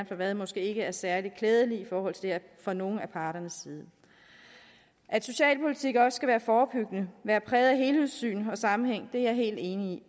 for hvad måske ikke er særlig klædelig for nogen af parterne at socialpolitik også skal være forebyggende og være præget af helhedssyn og sammenhæng er jeg helt enig